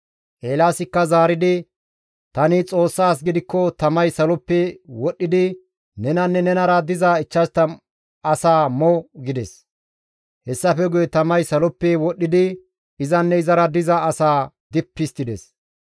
Eelaasikka zaaridi, «Tani Xoossa as gidikko tamay saloppe wodhdhidi nenanne nenara diza 50 asaa mo!» gides; hessafe guye tamay saloppe wodhdhidi izanne izara diza asaa dippi histtides.